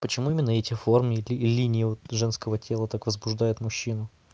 почему именно эти формы и линии женского тела так возбуждает мужчину